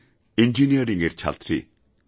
আমি ইঞ্জিনিয়ারিংয়ের ছাত্রী